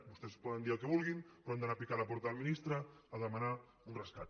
vostès poden dir el que vulguin però han d’anar a picar a la porta del ministre a demanar un rescat